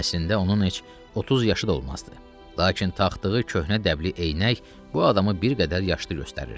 Əslində onun heç 30 yaşı da olmazdı, lakin taxdığı köhnə dəbli eynək bu adamı bir qədər yaşlı göstərirdi.